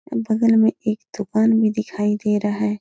बगल में एक दुकान भी दिखाई दे रहा है।